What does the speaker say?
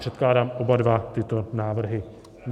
Předkládám oba dva tyto návrhy.